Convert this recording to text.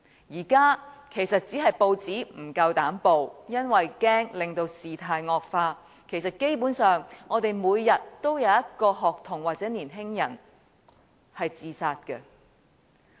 現在其實只是報章不敢報道，恐怕令事態惡化，但其實基本上每天也有一名學童或年青人自殺。